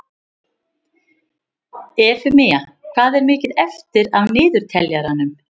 Eufemía, hvað er mikið eftir af niðurteljaranum?